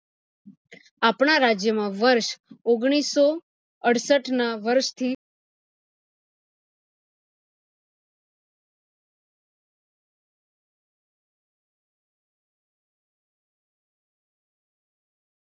આપણા રાજ્ય માં વર્ષ ઓગણીસો અડસઠ ના વર્ષ થી